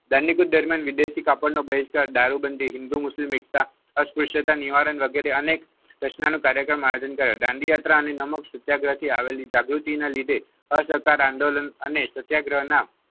વિદેશી કાપડ નો બહિષ્કાર દારૂબંધી હિન્દી મુસ્લિમ એકતા અશ્વસ્થા નિવારણ વગેરે અનેક કાર્યક્રમ આયોજન કર્યો દાંડી યાત્રા અને નમક સત્યાગ્રહથી આવેલી જાગૃતિના લીધે આંદોલન અને સત્યાગ્રહના